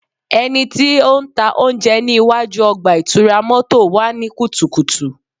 Ẹniti o ntaa ounjẹ ni iwaju ọgba-itura mọto wa ni kutukutu